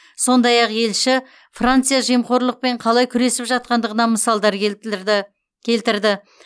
сондай ақ елші франция жемқорлықпен қалай күресіп жатқандығынан мысалдар келтірді